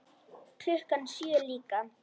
Klukkan sjö líka.